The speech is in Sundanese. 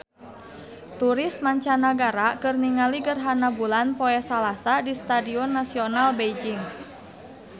Turis mancanagara keur ningali gerhana bulan poe Salasa di Stadion Nasional Beijing